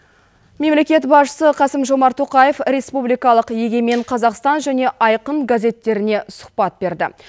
мемлекет басшысы қасым жомарт тоқаев республикалық егемен қазақстан және айқын газеттеріне сұхбат берді